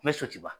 N bɛ so ci wa